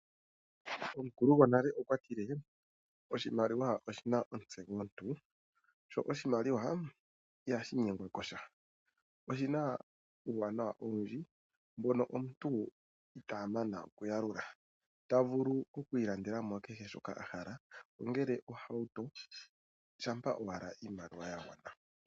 Omukulo gonale okwatile' oshimaliwa oshina omutse gomuntu'. Sho oshimaliwa ihashi nyengwa kosha. Oshina uuwanawa owundji mbono omuntu itaa mana okuyalula. Tavulu oku ilandela mo kehe shoka a hala ongele ohauto shampa owala iimaliwa ya gwana.